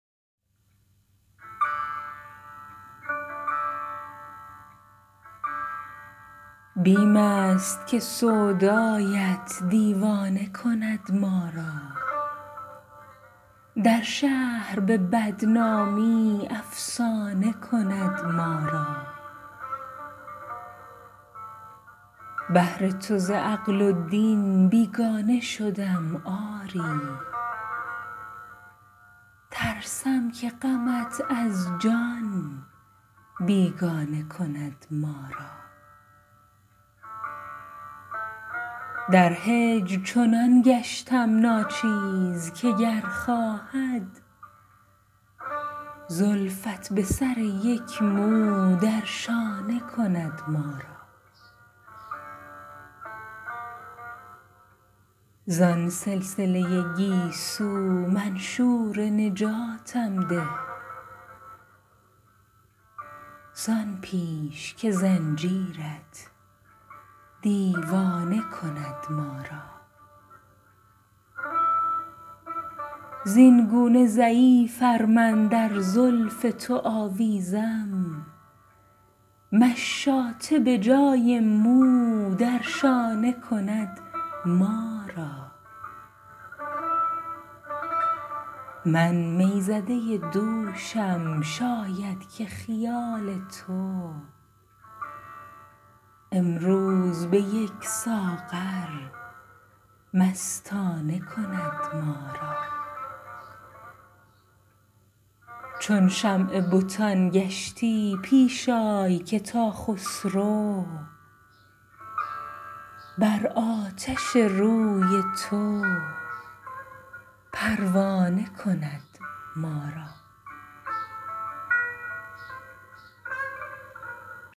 بیم است که سودایت دیوانه کند ما را در شهر به بدنامی افسانه کند ما را بهر تو ز عقل و دین بیگانه شدم آری ترسم که غمت از جان بیگانه کند ما را در هجر چنان گشتم ناچیز که گر خواهد زلفت به سر یک مو در شانه کند ما را زان سلسله گیسو منشور نجاتم ده زان پیش که زنجیرت دیوانه کند ما را زینگونه ضعیف ار من در زلف تو آویزم مشاطه به جای مو در شانه کند ما را من می زده دوشم شاید که خیال تو امروز به یک ساغر مستانه کند ما را چون شمع بتان گشتی پیش آی که تا خسرو بر آتش روی تو پروانه کند ما را